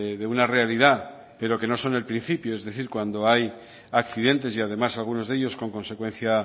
de una realidad pero que no son el principio es decir cuando hay accidentes y además algunos de ellos con consecuencia